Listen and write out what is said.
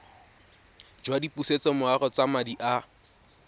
jwa dipusetsomorago tsa madi a